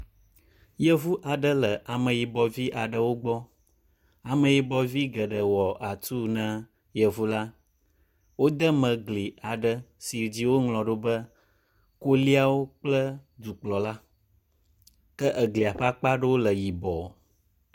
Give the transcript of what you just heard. Yevu aɖe le ameyibɔ vi aɖe gbɔ. Ameyibɔvi geɖe wɔ atu ne yevu al, wode me gli aɖe si dzi woŋlɔ ɖo be koliawo kple dukplɔla. Ke egelia ƒe akpa ɖewo le yibɔ.